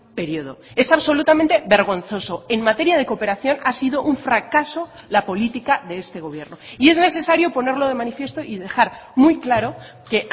periodo es absolutamente vergonzoso en materia de cooperación ha sido un fracaso la política de este gobierno y es necesario ponerlo de manifiesto y dejar muy claro que